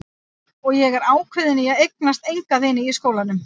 Og ég er ákveðin í að eignast enga vini í skólanum.